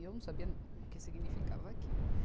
E eu não sabia o que significava aquilo.